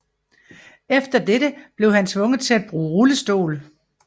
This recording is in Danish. Efter dette blev han tvunget til at bruge rullestol